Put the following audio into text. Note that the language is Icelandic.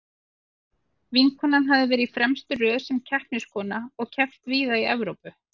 Vinkonan hafði verið í fremstu röð sem keppniskona og keppt víða í Evrópu.